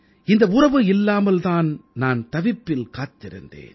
இந்த உறவு இல்லாமல் தான் நான் தவிப்பில் காத்திருந்தேன்